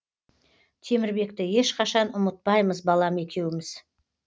темірбекті ешқашан ұмытпаймыз балам екеуміз